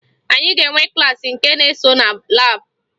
Anyị ga-enwe klaasị nke na-eso na laabụ